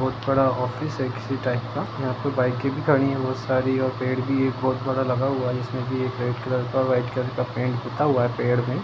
बहुत बड़ा ऑफिस है की टाइप यहा पे बाइकें भी खड़ी है बहुत सारी पेड़ भी एक बहुत बड़ा लगा हुआ जिस में रेड कलर का और वाईट कलर का पेंट पुता हुआ है पेड़ में।